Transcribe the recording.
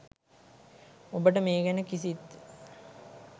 ඔබට මේ ගැන කිසිත්